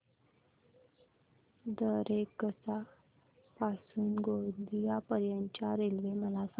दरेकसा पासून ते गोंदिया पर्यंत च्या रेल्वे मला सांगा